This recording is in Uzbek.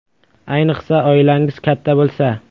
Ayniqsa, oilangiz katta bo‘lsa.